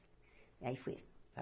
E aí fui.